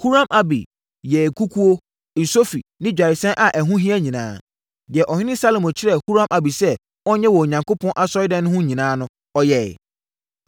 Huram-Abi yɛɛ nkukuo, nsofi ne dwaresɛn a ɛho hia nyinaa. Deɛ ɔhene Salomo kyerɛɛ Huram-Abi sɛ ɔnyɛ wɔ Onyankopɔn Asɔredan no ho no nyinaa, ɔyɛeɛ.